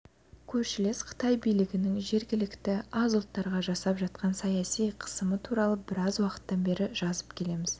көршілес қытай билігінің жергілікті аз ұлттарға жасап жатқан саяси қысымы туралы біраз уақыттан бері жазып келеміз